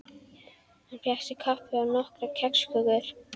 Hann fékk sér kaffi og nokkrar kexkökur.